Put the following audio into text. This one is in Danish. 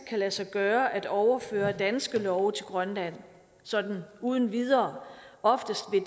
kan lade sig gøre at overføre danske love til grønland sådan uden videre oftest vil